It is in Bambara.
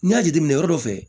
N'i y'a jateminɛ yɔrɔ dɔ fɛ